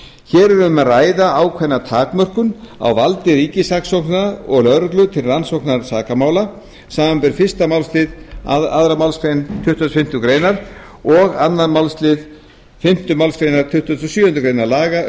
hér er um að ræða ákveðna takmörkun á valdi ríkissaksóknara og lögreglu til rannsóknar sakamála samanber fyrstu málsl annarri málsgrein tuttugustu og fimmtu greinar og önnur málsl fimmtu málsgrein tuttugustu og sjöundu grein laga um